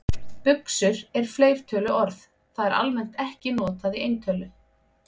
Buxur er fleirtöluorð, það er almennt ekki notað í eintölu.